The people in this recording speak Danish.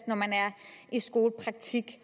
når man er i skolepraktik